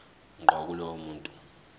ngqo kulowo muntu